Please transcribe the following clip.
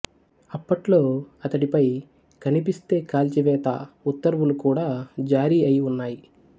అప్పట్లో అతడిపై కనిపిస్తే కాల్చివేత ఉత్తర్వులు కూడా జారీ అయి ఉన్నాయి